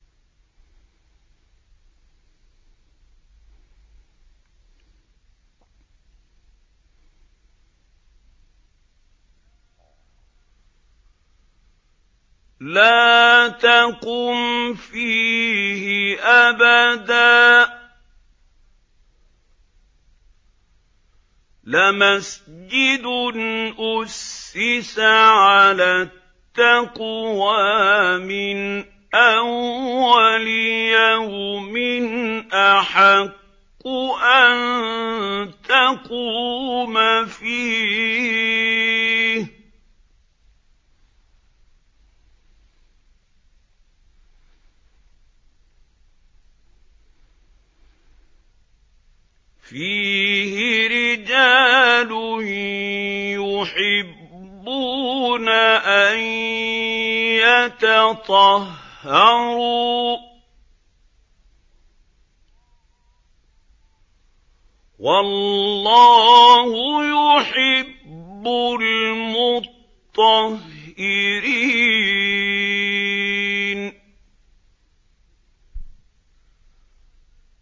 لَا تَقُمْ فِيهِ أَبَدًا ۚ لَّمَسْجِدٌ أُسِّسَ عَلَى التَّقْوَىٰ مِنْ أَوَّلِ يَوْمٍ أَحَقُّ أَن تَقُومَ فِيهِ ۚ فِيهِ رِجَالٌ يُحِبُّونَ أَن يَتَطَهَّرُوا ۚ وَاللَّهُ يُحِبُّ الْمُطَّهِّرِينَ